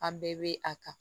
An bɛɛ bɛ a kan